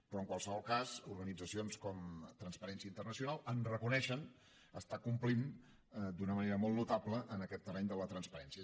però en qualsevol cas organitzacions com transparència internacional ens reconeixen que estem complint d’una manera molt notable en aquest terreny de la transparència